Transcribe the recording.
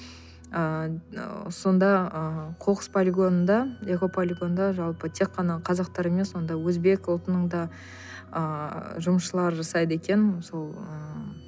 ы сонда ы қоқыс полигонында экополигонында жалпы тек қана қазақтар емес онда өзбек ұлтының да ыыы жұмысшылары жасайды екен сол ыыы